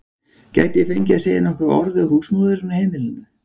Gæti ég fengið að segja nokkur orð við húsmóðurina á heimilinu?